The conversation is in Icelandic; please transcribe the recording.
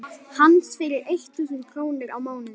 hans fyrir eitt þúsund krónur á mánuði.